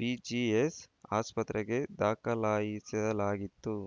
BGS ಆಸ್ಪತ್ರೆಗೆ ದಾಖಲಿಸಲಾಯಿತ್ತು